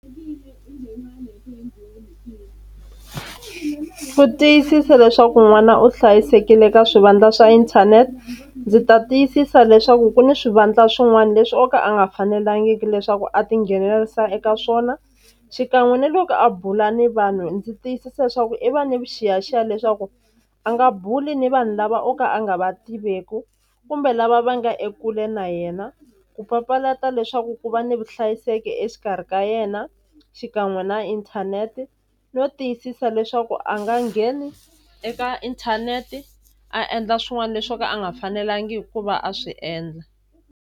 Ku tiyisisa leswaku n'wana u hlayisekile ka swivandla swa inthanete ndzi ta tiyisisa leswaku ku ni swivandla swin'wani leswi o ka a nga fanelangiki leswaku a tinghenelerisa eka swona xikan'we na loko a bula ni vanhu ndzi tiyisisa swa ku i va ni vuxiyaxiya leswaku a nga buli ni vanhu lava o ka a nga va tiveku kumbe lava va nga ekule na yena ku papalata leswaku ku va ni vuhlayiseki exikarhi ka yena xikan'we na inthanete no tiyisisa leswaku a nga ngheni eka inthanete a endla swin'wani leswo ka a nga fanelangi ku va a swi endla.